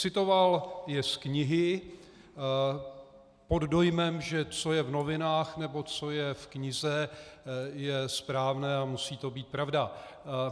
Citoval je z knihy pod dojmem, že co je v novinách nebo co je v knize, je správné a musí to být pravda.